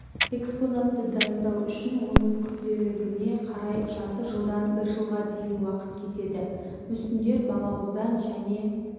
экспонатты дайындау үшін оның күрделілігіне қарай жарты жылдан бір жылға дейін уақыт кетеді мүсіндер балауыздан және